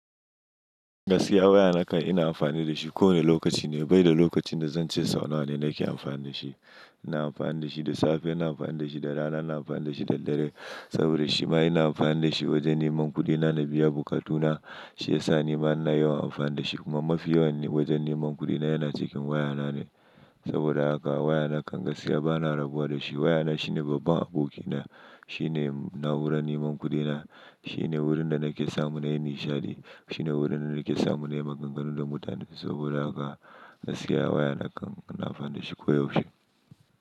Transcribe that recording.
Gaskiya waya na kan ina amfani da shi kowane lokaci. Ni bai da lokacin da zan ce sau nawa ne nake amfani da shi. Ina amfani da shi da safe, ina amfani da shi da rana, ina amfani da shi da dare. Saboda shima ina amfani da shi wajen neman kudina na biya bukatuna. Shi ya sa ni bana yawan amfani da shi. Kuma mafi yawan wajen neman kudina yana cikin waya na ne. Saboda haka waya na gaskiya bana rabuwa da shi. Waya na shine babban aboki na. Shi ne naura neman kudina. Shi ne wurin da nake samu na yi nishaɗi. Shi ne wurin da nake samu na yi maganganu da mutane. Saboda haka gaskiya waya na kan na amfani da shi koyaushe.